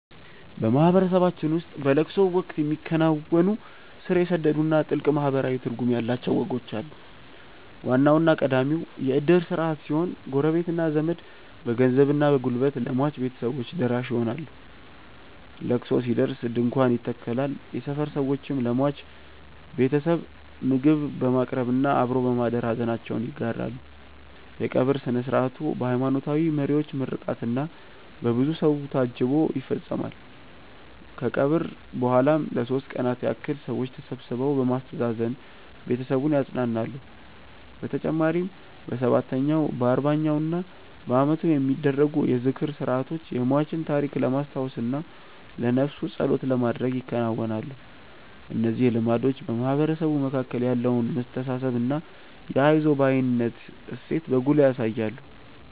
በማህበረሰባችን ውስጥ በለቅሶ ወቅት የሚከናወኑ ስር የሰደዱና ጥልቅ ማህበራዊ ትርጉም ያላቸው ወጎች አሉ። ዋናውና ቀዳሚው የእድር ስርዓት ሲሆን፣ ጎረቤትና ዘመድ በገንዘብና በጉልበት ለሟች ቤተሰቦች ደራሽ ይሆናሉ። ለቅሶ ሲደርስ ድንኳን ይተከላል፣ የሰፈር ሰዎችም ለሟች ቤተሰብ ምግብ በማቅረብና አብሮ በማደር ሐዘናቸውን ይጋራሉ። የቀብር ሥነ ሥርዓቱ በሃይማኖታዊ መሪዎች ምርቃትና በብዙ ሰው ታጅቦ ይፈጸማል። ከቀብር በኋላም ለሦስት ቀናት ያህል ሰዎች ተሰብስበው በማስተዛዘን ቤተሰቡን ያጸናናሉ። በተጨማሪም በሰባተኛው፣ በአርባኛውና በዓመቱ የሚደረጉ የዝክር ሥርዓቶች የሟችን ታሪክ ለማስታወስና ለነፍሱ ጸሎት ለማድረግ ይከናወናሉ። እነዚህ ልማዶች በማህበረሰቡ መካከል ያለውን መተሳሰብና የአይዞህ ባይነት እሴትን በጉልህ ያሳያሉ።